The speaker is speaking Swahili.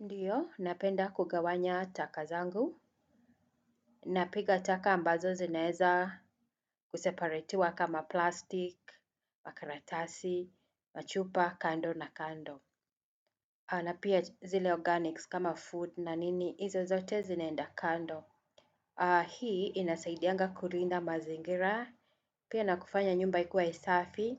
Ndio, napenda kugawanya taka zangu, napiga taka ambazo zinaeza kuseparetiwa kama 'plastik', makaratasi, machupa, kando na kando. Na pia zile 'organics' kama 'food' na nini, hizo zote zinaenda kando. Hii inasaidianga kulinda mazingira, pia na kufanya nyumba ikuwa safi,